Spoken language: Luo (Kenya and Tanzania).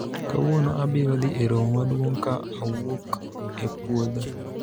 kawuono abiro dhi e romo maduong' ka awuok e pwodho